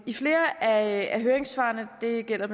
i flere af høringssvarene det gælder